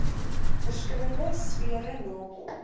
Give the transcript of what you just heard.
verskillende sfere nakom